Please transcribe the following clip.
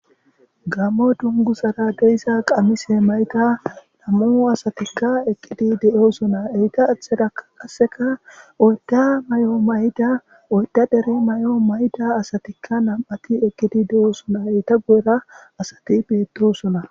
gammo dungu sara deyssa qamise mayta nammoo asatikka ekkidi de7oosona eyta athedaa qasseka oyta may7o mayda oyta dere may7o mayda asatikka nam7ati ekkidi de7oosona eyta go7era asati beettosona